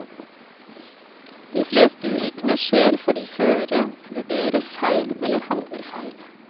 De fleste ulykkene skjer fordi føreren vurderer feil eller handler feil.